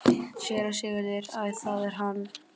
SÉRA SIGURÐUR: Æ, það er hann!